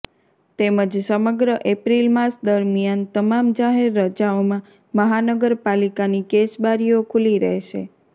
તેમજ સમગ્ર એપ્રિલ માસ દરમિયાન તમામ જાહેર રજાઓમાં મહાનગરપાલિકાની કેશબારીઓ ખુલ્લી રહેશે